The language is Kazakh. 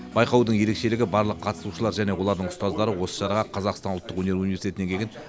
байқаудың ерекшілігі барлық қатысушы және олардың ұстаздары осы шараға қазақстан ұлттық өнер университетінен келген